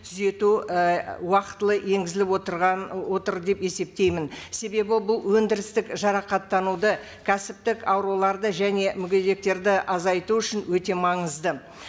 түзету і уақытылы енгізіліп отырған отыр деп есептеймін себебі бұл өндірістік жарақаттануды кәсіптік ауруларды және мүгедектерді азайту үшін өте маңызды